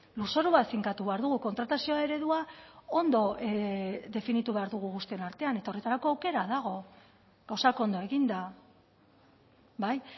lurzoru bat finkatu behar dugu kontratazio eredua ondo definitu behar dugu guztien artean eta horretarako aukera dago gauzak ondo eginda bai